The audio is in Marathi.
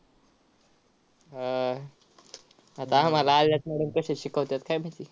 हा आह आता आम्हाला आलेल्यात madam कश्या शिकवत्यात काय माहिती?